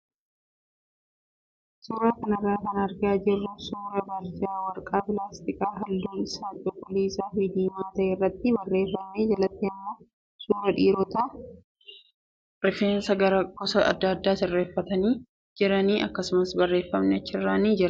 Suuraa kanarraa kan argaa jirru suuraa barjaa warqaa pilaastikaa halluun isaa cuquliisaa fi diimaa ta'e irratti barreeffamee jalatti immoo suuraa dhiirotaa kan rifeensa gosa adda addaa sirreeffatanii jiraniiti. Akkasuma barreeffamni achirra ni jira.